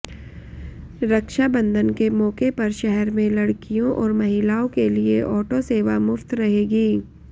रक्षााबंधन के मौके पर शहर में लड़कियों और महिलाओ के लिए ऑटो सेवा मुफ्त रहेगी